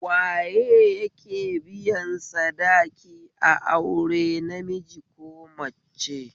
Waye yake biyan sadaki a aure namiji ko mace?